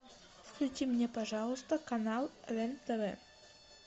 включи мне пожалуйста канал рен тв